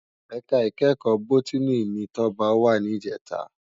Èká ikèékò bòtìní ni Toba wá nijètá